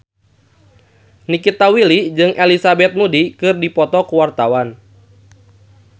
Nikita Willy jeung Elizabeth Moody keur dipoto ku wartawan